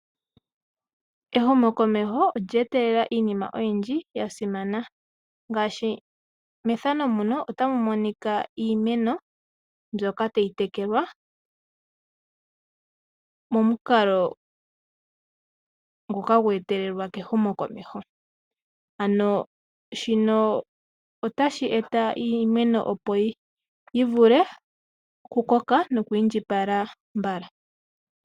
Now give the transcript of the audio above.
Ehumokomeho olye etelela iinima oyindji yasimana. Ngaashi otamu monika iimeno mbyoka tayi tekelwa momukalo nguka gwe etelelwa ehumokomeho. Ano shino otashi eta iimeno opo yi vule oku koka noku indjipala mbala.